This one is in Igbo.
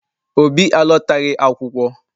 Obi alọtaghị akwụkwọ.